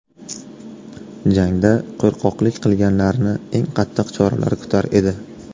Jangda qo‘rqoqlik qilganlarni eng qattiq choralar kutar edi.